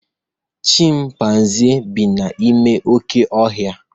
Chịmpaizịn bi n'ime oké ohia